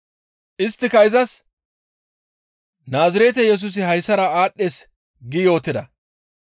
Isttika izas, «Naazirete Yesusi hayssara aadhdhees» gi yootida.